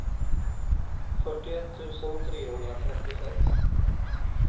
fyrtioett tusen trehundratrettiosex